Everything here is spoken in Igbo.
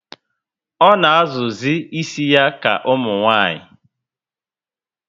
O na azụ zi ísì ya ka umunwanyi